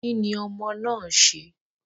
Kí ni ọmọ náà ń ṣe?